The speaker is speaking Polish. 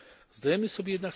Zdajemy sobie jednak